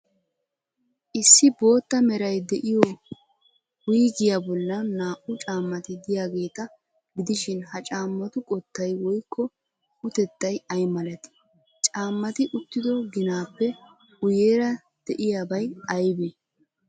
Issi bootta meray de'iyo wuygiya bollan naa''u caammati de'iyaageeta gidishin, ha caammatu qottay woykko utettay ay malatii? Caammati uttido ginaappe guuyeera de'iyaabay aybee?